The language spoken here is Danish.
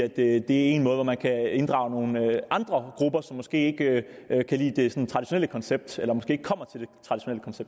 det er en måde hvorpå man kan inddrage nogle andre grupper som måske ikke kan lide det traditionelle koncept eller